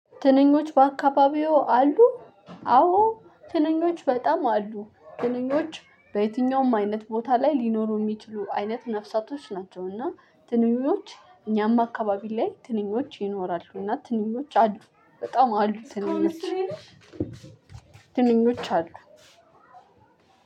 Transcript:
ትንኞች በአካባቢዎ አሉ አዎ ትንኞች በጣም አሉ ትንኞች በየትኛውም አይነት ቦታ ላይ ሊኖሩ እሚችሉ አይነት ነፍሳቶች ናቸው። እና ትንኞች እኛም አካባቢ ላይ ትንኞች ይኖራሉ። እና ትንኞች አሉ በጣም አሉ ትንኞች። ትንኞች አሉ።